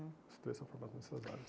Os três são formados nessas áreas.